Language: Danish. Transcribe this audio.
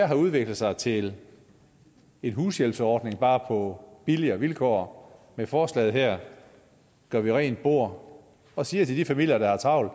har udviklet sig til en hushjælpsordning bare på billigere vilkår med forslaget her gør vi rent bord og siger til de familier der har travlt